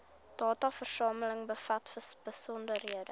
dataversameling bevat besonderhede